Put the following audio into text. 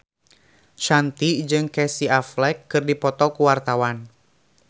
Shanti jeung Casey Affleck keur dipoto ku wartawan